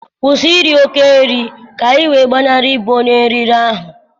Kwụsị iri oke nri ka ị wee gbanarịe ịbụ onye nri riri ahụ!